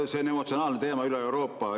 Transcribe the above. See on emotsionaalne teema üle Euroopa.